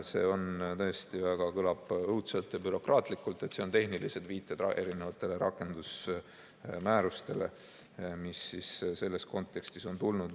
See tõesti kõlab väga õudselt ja bürokraatlikult, need tehnilised viited erinevatele rakendusmäärustele, mis selles kontekstis on tulnud.